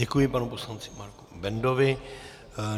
Děkuji panu poslanci Marku Bendovi.